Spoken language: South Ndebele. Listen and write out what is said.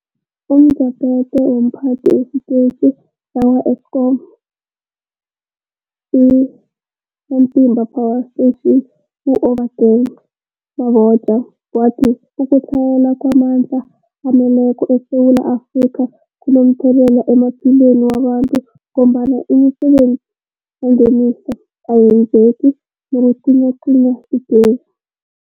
UmJaphethe womPhathi wesiTetjhi sakwa-Eskom i-Matimba Power Station u-Obakeng Mabotja wathi ukutlhayela kwamandla aneleko ngeSewula Afrika kunomthelela emaphilweni wabantu ngombana imisebenzi yangemihla ayenzeki nakucinywacinywa igezi.